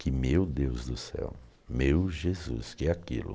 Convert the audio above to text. Que meu Deus do céu, meu Jesus, que é aquilo?